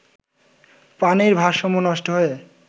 পানির ভারসাম্য নষ্ট হয়ে